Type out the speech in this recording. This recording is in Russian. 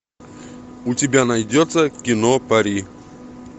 у тебя найдется кино пари